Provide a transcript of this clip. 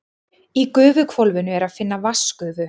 Í gufuhvolfinu er að finna vatnsgufu.